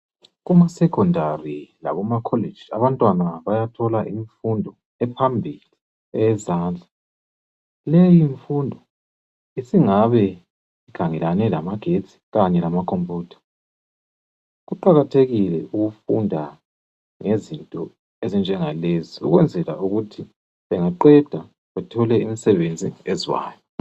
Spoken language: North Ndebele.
kuma secondary lakuma college abantwana bayathola imfundo ephambili eyezandla leyi mfundo isingabe ikhangelane lamagetsi kanye ama computer kuqakathekile ukufunda ngezinto ezinjenga lezi ukwenzela ukuthi bengaqeda bethole imisenbenzi ezwayo